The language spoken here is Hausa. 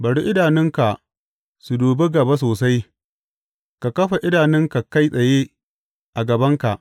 Bari idanunka su dubi gaba sosai, ka kafa idanunka kai tsaye a gabanka.